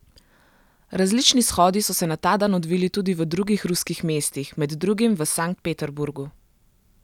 Različni shodi so se na ta dan odvili tudi v drugih ruskih mestih, med drugim v Sankt Peterburgu.